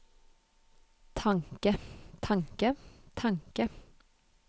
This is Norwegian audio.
tanke tanke tanke